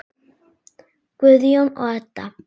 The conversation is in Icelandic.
Guðjón og Edda.